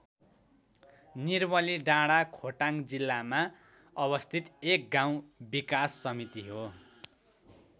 निर्मलीडाँडा खोटाङ जिल्लामा अवस्थित एक गाउँ विकास समिति हो।